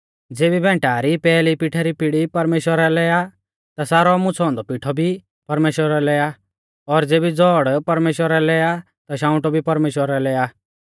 ज़ेबी भैंटा री पैहली पिठै री पीड़ी परमेश्‍वरा लै आ ता सारौ मुछ़ौ औन्दौ पिठौ भी परमेश्‍वरा लै आ और ज़ेबी ज़ौड़ परमेश्‍वरा लै आ ता शांउटौ भी परमेश्‍वरा लै आ